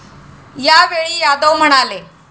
यावेळी यादव म्हणाले,.